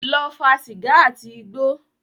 Lọ fa sìgá àti igbó.